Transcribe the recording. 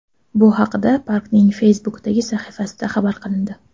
Bu haqda parkning Facebook’dagi sahifasida xabar qilindi .